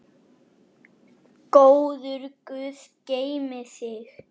Góður Guð geymi þig.